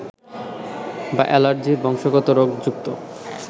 বা অ্যালার্জির বংশগত রোগ যুক্ত